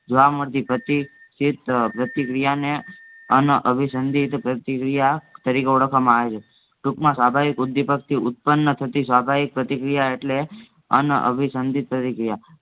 જોવા મળતી પછી તેજ પ્રતિક્રિયાને અનઅભિસંધિત પ્રતિક્રિયા તરીકે ઓળખવામાં આવેછે ટુંકમાં સ્વાભાવિક ઉદ્દીપકથી ઉત્પન્ન થતી સ્વાભાવિક પ્રતિક્રિયા એટલે અનઅભિસંધિત પ્રતિક્રિયા